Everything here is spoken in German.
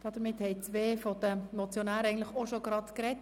Damit haben zwei der Motionäre bereits gesprochen.